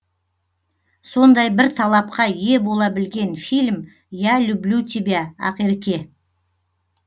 сондай бір талапқа ие бола білген фильм я люблю тебя ақерке